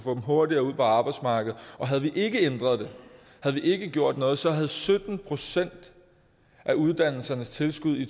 hurtigere ud på arbejdsmarkedet havde vi ikke ændret det havde vi ikke gjort noget så havde sytten procent af uddannelsernes tilskud i